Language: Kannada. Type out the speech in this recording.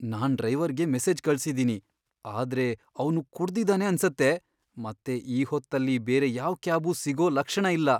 ನಾನ್ ಡ್ರೈವರ್ಗೆ ಮೆಸೇಜ್ ಕಳ್ಸಿದೀನಿ, ಆದ್ರೆ ಅವ್ನು ಕುಡ್ದಿದಾನೆ ಅನ್ಸತ್ತೆ ಮತ್ತೆ ಈ ಹೊತ್ತಲ್ಲಿ ಬೇರೆ ಯಾವ್ ಕ್ಯಾಬೂ ಸಿಗೋ ಲಕ್ಷಣ ಇಲ್ಲ.